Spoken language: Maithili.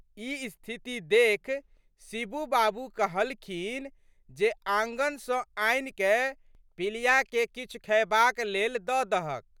ई स्थिति देखि शिबू बाबू कहलखिन जे आँगन सँ आनिकए पिलियाके किछु खएबाक लेल दे दहक।